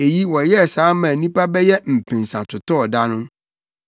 Enti wɔyɛɛ saa maa nnipa bɛyɛ mpensa totɔɔ da no.